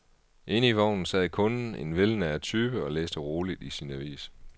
Inde i vognen sad kunden, en velnæret type, og læste roligt i sin avis.